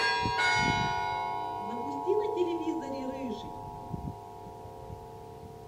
запусти на телевизоре рыжий